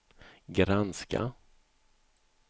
granska